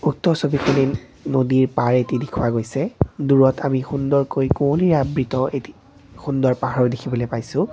উক্ত ছবিখনিত নদীৰ পাৰ এটি দেখুওৱা গৈছে দূৰত আমি সুন্দৰকৈ কুঁৱলীৰে আবৃত এটি সুন্দৰ পাহাৰো দেখিবলৈ পাইছোঁ।